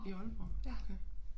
I Aalborg okay